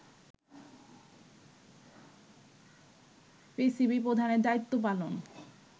PCB প্রধানের দায়িত্ব পালন